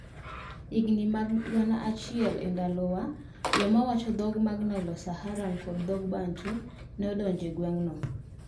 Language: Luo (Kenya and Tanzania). E higini mag Gana achiel e Ndalowa, joma wacho dhok mag Nilo-Saharan kod dhok mag Bantu ne odonjo e gweng'no.